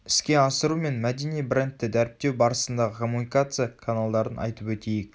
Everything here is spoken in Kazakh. іске асыру мен мәдени брендті дәріптеу барысындағы коммуникация каналдарын айтып өтейік